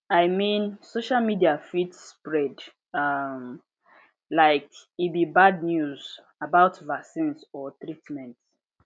i mean social media fit spread ah like e be bad news about vaccines or treatment